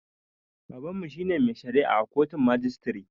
Babanmu shine mai shari'a a kotun majistire